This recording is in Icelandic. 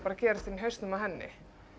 að gerast inni í hausnum á henni